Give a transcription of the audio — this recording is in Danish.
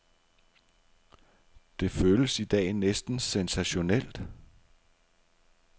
Det føles i dag næsten sensationelt.